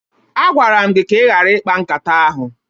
A gwara m gị ka ị ghara ikpa nkata ahụ!